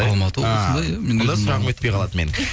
алматы облысында иә онда сұрағым өтпей қалады менің